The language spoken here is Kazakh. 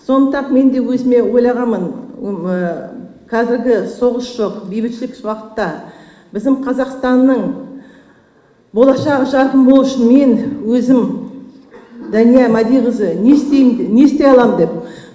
сондықтан мен де өзіме ойлағанмын қазіргі соғыс жоқ бейбітшілік уақытта біздің қазақстанның болашағы жарқын болуы үшін мен өзім дания мәдиқызы не істейм не істей аламын деп